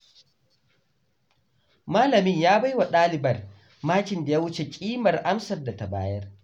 Malamin ya baiwa ɗalibar makin da ya wuce kimar amsar da ta bayar.